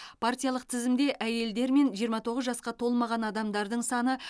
партиялық тізімде әйелдер мен жиырма тоғыз жасқа толмаған адамдардың саны